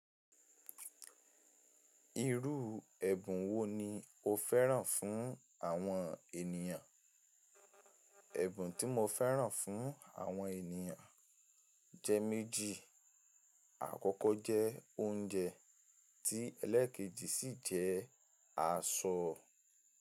Irú ẹ̀bùn wo ni o fẹ́ràn fún àwọn ènìyàn? Ẹ̀bùn tí mo fẹ́ràn fún àwọn ènìyàn jẹ́ méjì. Àkọ́kọ́ jẹ́ oúnjẹ tí ẹlẹ́kẹ́jì sì jẹ́ aṣọ.